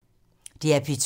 DR P2